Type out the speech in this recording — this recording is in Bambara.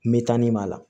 Mɛ taa nin b'a la